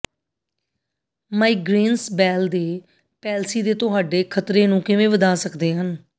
migraines Bell ਦੇ palsy ਦੇ ਤੁਹਾਡੇ ਖ਼ਤਰੇ ਨੂੰ ਕਿਵੇਂ ਵਧਾ ਸਕਦੇ ਹਨ